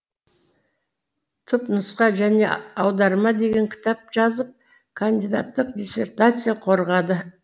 түпнұсқа және аударма деген кітап жазып кандидаттық диссертация қорғады